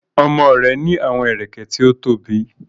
Ọmọ rẹ ni awọn ẹrẹkẹ ti o tobi